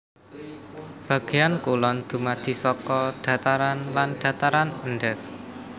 Bagéan kulon dumadi saka dhataran lan dhataran endhèk